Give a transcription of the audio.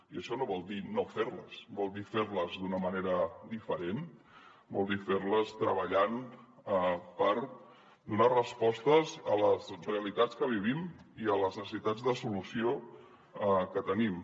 i això no vol dir no fer les vol dir fer les d’una manera diferent vol dir fer les treballant per donar respostes a les realitats que vivim i a les necessitats de solució que tenim